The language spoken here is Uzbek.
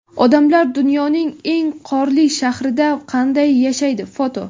Odamlar dunyoning eng qorli shahrida qanday yashaydi (foto).